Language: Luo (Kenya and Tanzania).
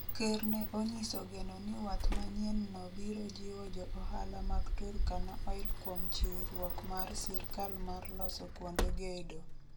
Ker ne onyiso geno ni wath manyienno biro jiwo jo ohala mag Turkana Oil kuom chiwruok mar sirkal mar loso kuonde gedo.